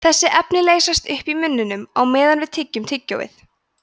þessi efni leysast upp í munninum á meðan við tyggjum tyggjóið